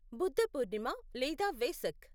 బుద్ధ పూర్ణిమ లేదా వేసక్